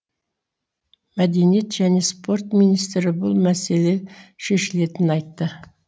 мәдениет және спорт министрі бұл мәселе шешілетінін айтты